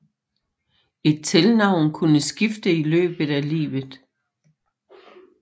Et tilnavn kunne skifte i løbet af livet